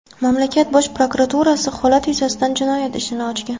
Mamlakat bosh prokuraturasi holat yuzasidan jinoyat ishini ochgan.